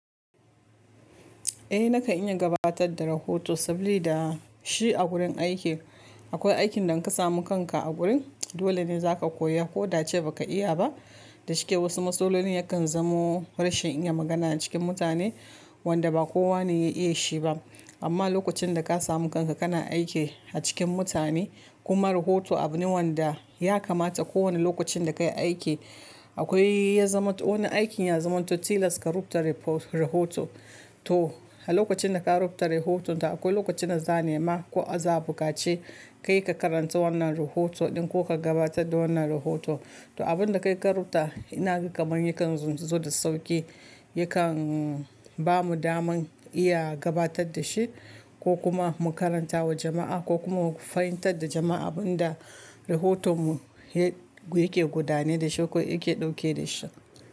Eh naka iya gabatar da rahoto saboda shi a gurin aiki. Akwai aikin da inka samu kanka a gurin dole ne za ka koya ko da nace ba ka iya ba. Da shike wasu matsaloli yakan zamo rashin iya magana cikin mutane wanda ba kowane ya iya shi ba. Amma lokacin da ka samu kanka kana aiki a cikin mutane kuma rahoto abune wanda ya kamata kowane lokacin da ka yi aiki akwai ya zama wani aikin ya zama to tilas ka rubuta repo-rahoto. To a lokacin da ka rubuta rahoton da akwai lokacin da za a nema ko za a bukace ka yi ka karanta wannan rahoton ko ka gabatar da wannan rahoto. To abin da ka rubuta ina kamun yakan zo da sauki yakan bamu daman iya gabatar da shi ko kuma mu karanta wa jama'a ko kuma mu fahimtar da jama'a abin da rahotonmu yake gudane da shi ko yake dauke da shi.